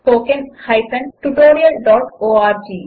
httpspoken tutorialorg